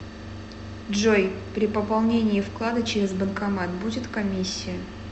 джой при пополнении вклада через банкомат будет комиссия